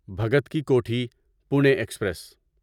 Bhagat Ki Kothi Pune express